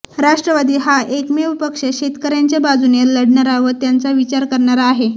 राष्ट्रवादी हा एकमेव पक्ष शेतकऱयांच्या बाजूने लढणारा व त्यांचा विचार करणारा आहे